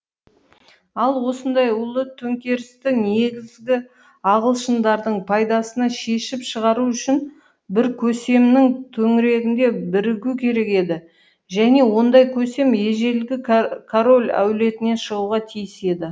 ал осындай ұлы төңкерісті негізгі ағылшындардың пайдасына шешіп шығару үшін бір көсемнің төңірегінде бірігу керек еді және ондай көсем ежелгі король әулетінен шығуға тиіс еді